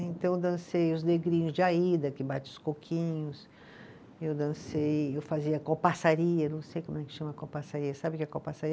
Então eu dancei os negrinhos de Aida, que bate os coquinhos, eu dancei, eu fazia copaçaria, não sei como é que chama a copaçaria, sabe o que é copaçaria?